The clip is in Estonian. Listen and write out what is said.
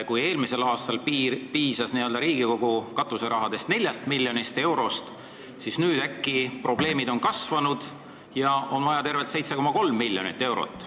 Kui eelmisel aastal piisas Riigikogu katuserahadeks 4 miljonist eurost, siis nüüdseks on probleemid kasvanud ja on vaja tervelt 7,3 miljonit eurot.